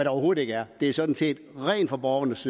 overhovedet ikke er det er sådan set rent for borgernes